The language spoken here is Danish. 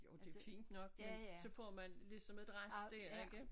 Jo det fint nok men så får man ligesom et rest dér ikke